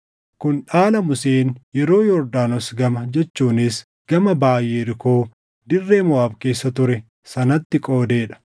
Kun dhaala Museen yeroo Yordaanos gama jechuunis gama baʼa Yerikoo dirree Moʼaab keessa ture sanatti qoodee dha.